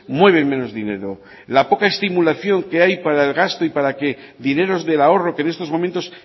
mueven menos dinero la poca estimulación que hay para el gasto y para que dineros del ahorro que en estos momentos